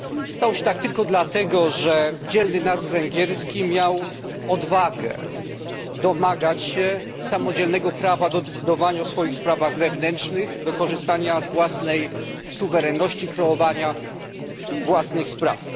Stało się tak tylko dlatego, że dzielny naród węgierski miał odwagę domagać się samodzielnego prawa do decydowania o swoich sprawach wewnętrznych, do korzystania z własnej suwerenności, kreowania własnych spraw.